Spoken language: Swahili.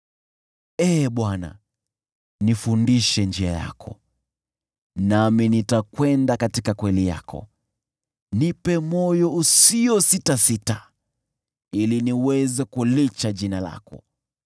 Ee Bwana , nifundishe njia yako, nami nitakwenda katika kweli yako; nipe moyo usiositasita, ili niweze kulicha jina lako.